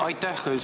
Aitäh!